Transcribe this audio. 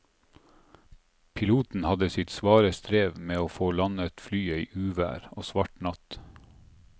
Piloten hadde sitt svare strev med å få landet flyet i uvær og svart natt.